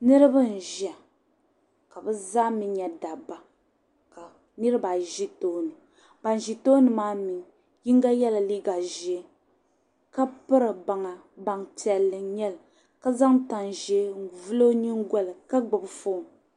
niriba n-ʒia ka bɛ zaa mi nyɛ dabba ka niriba ayi ʒi tooni ban ʒi tooni maa mi yiŋga yɛla liiga ʒee ka piri baŋa baŋ' piɛlli n-nyɛ li ka zaŋ tan' ʒee n-vuli o nyingoli ka gbubi foon